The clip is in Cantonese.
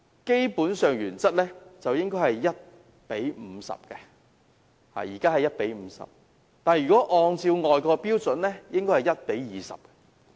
現時的服務標準是 1：50， 但若按照外國標準，應該是 1：20。